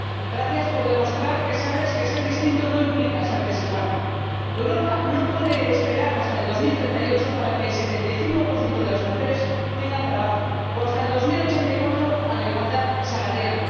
Gracias por demostrar que sabes que ser distinto no implica ser desigual. Europa no puede esperar hasta 2038 para que el 75 de las mujeres tengan trabajo o hasta 2084 a la igualdad salarial.